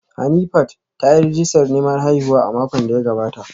Hanifat ta yi rijistar neman haihuwa a makon da ya gabata